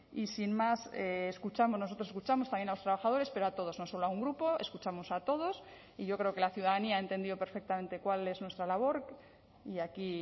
y sin más escuchamos nosotros escuchamos también a los trabajadores pero a todos no solo a un grupo escuchamos a todos y yo creo que la ciudadanía ha entendido perfectamente cuál es nuestra labor y aquí